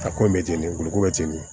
A ko bɛ ten de kuluko bɛ ten de